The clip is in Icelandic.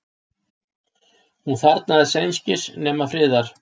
Hún þarfnast einskis nema friðar.